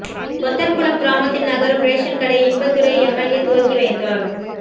கொத்தன்குளம் கிராமத்தில் நகரும் ரேஷன் கடை இன்பதுரை எம்எல்ஏ துவக்கி வைத்தார்